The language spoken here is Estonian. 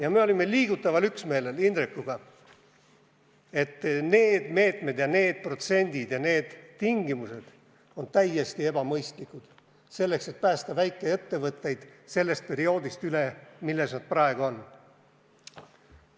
Aga me olime liigutaval üksmeelel Indrekuga, et need meetmed ja need protsendid ja need tingimused on täiesti ebamõistlikud, kui siht on aidata väikeettevõtteid sellest perioodist üle, mis praegu on.